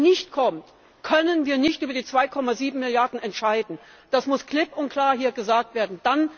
Wenn diese Garantie nicht kommt, können wir nicht über die 2,7 Milliarden entscheiden. Das muss klipp und klar hier gesagt werden.